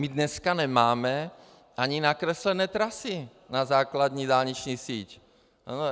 My dneska nemáme ani nakreslené trasy na základní dálniční síť.